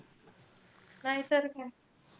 नाईतर काय.